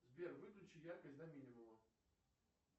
сбер выключи яркость до минимума